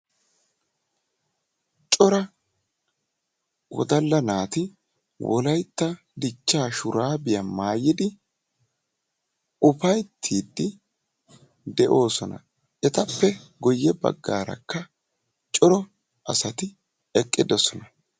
Cora woddalla naati wolaytta dichchaa shuraabiya maayidi ufayttiidi de'oosona. Etappe guye baggaarakka cora asati shiiqqiddosaan.